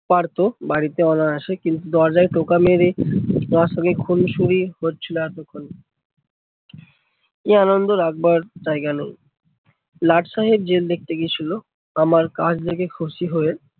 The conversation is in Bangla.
পারতো বাড়িতে অনায়াসে। কিন্তু দরজায় টোকা মেরে মার সঙ্গে খুনসুরি হচ্ছিলো এতক্ষন। কি আনন্দ রাখবার জায়গা নেই, লাড সাহেব জেল দেখতে গেছিলো আমার কাজ দেখে খুশি হয়ে